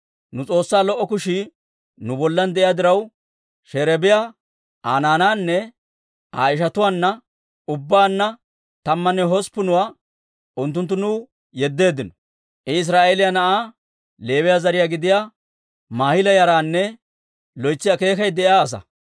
Nu S'oossaa lo"o kushii nu bollan de'iyaa diraw, Sherebiyaa Aa naanaanne Aa ishatuwaanna, ubbaanna tammanne hosppunuwaa unttunttu nuw yeddeeddino. I Israa'eeliyaa na'aa Leewiyaa zariyaa gidiyaa Maahila yaranne loytsi akeekay de'iyaa asaa.